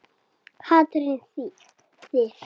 Katrín Sif.